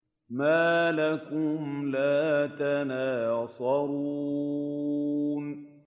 مَا لَكُمْ لَا تَنَاصَرُونَ